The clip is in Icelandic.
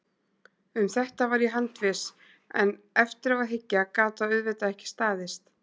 Um þetta var ég handviss, en eftir á að hyggja gat það auðvitað ekki staðist.